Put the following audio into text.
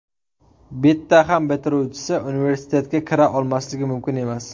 Bitta ham bitiruvchisi universitetga kira olmasligi mumkin emas.